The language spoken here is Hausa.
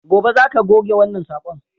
Gobe, za ka goge wannan sakon!